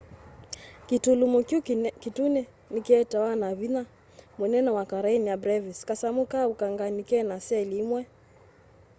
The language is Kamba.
kĩtũlũmo kĩũ kĩtũnĩ nĩkĩetawa nĩ vĩnya mũnene wa karenia brevis kasamũ ka ũkanganĩ kena cell ĩmwe